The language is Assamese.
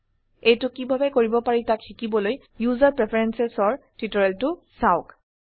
এইটো কিভাবে কৰিব পাৰি তাক শিকিবলৈ ওচেৰ প্ৰেফাৰেন্স এৰ টিউটোৰিয়েলটো চাওক